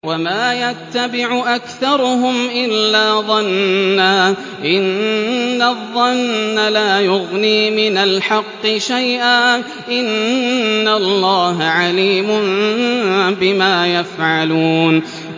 وَمَا يَتَّبِعُ أَكْثَرُهُمْ إِلَّا ظَنًّا ۚ إِنَّ الظَّنَّ لَا يُغْنِي مِنَ الْحَقِّ شَيْئًا ۚ إِنَّ اللَّهَ عَلِيمٌ بِمَا يَفْعَلُونَ